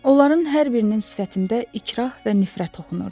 Onların hər birinin sifətində ikrah və nifrət oxunurdu.